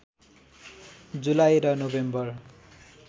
जुलाई र नोभेम्बर